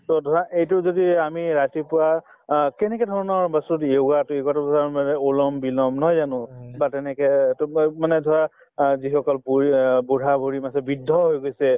to ধৰা এইটো যদি এই আমি ৰাতিপুৱা অ কেনেকে ধৰণৰ বস্তু দিয়ে অনুলমবিলম নহয় জানো তাত এনেকে মানে ধৰা অ যিসকল বুঢ়ী অ বুঢ়া-বুঢ়ী আছে বৃদ্ধ হৈ গৈছে